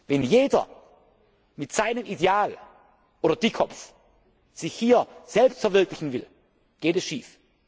Wenn jeder mit seinem Ideal oder Dickkopf sich hier selbst verwirklichen will, geht es schief!